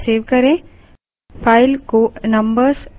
file पर hit करें save सेब करें